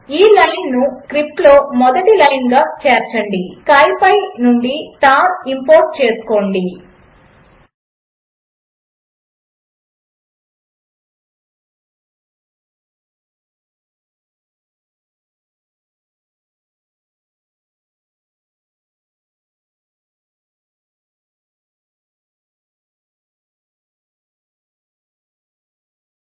ఈ లైన్ను స్క్రిప్ట్లో మొదటి లైన్గా చేర్చండి